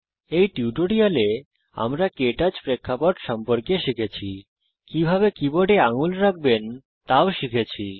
এই টিউটোরিয়ালে আমরা কে টচ প্রেক্ষাপট সম্পর্কে শিখেছি কিভাবে কীবোর্ডে আঙুল রাখবেন তাও শিখেছি